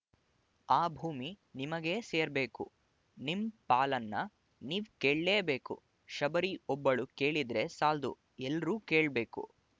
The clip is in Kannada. ಆ ಭೂಮಿ ನಿಮಗೇ ಸೇರ್ಬೇಕು ನಿಮ್ ಪಾಲನ್ನ ನೀವ್ ಕೇಳ್ಲೇಬೇಕು ಶಬರಿ ಒಬ್ಬಳು ಕೇಳಿದ್ರೆ ಸಾಲ್ದು ಎಲ್ರೂ ಕೇಳ್ಬೇಕು